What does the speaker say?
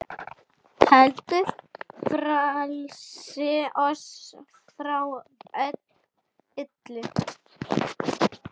heldur frelsa oss frá illu.